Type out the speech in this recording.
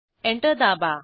enter दाबा